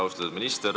Austatud minister!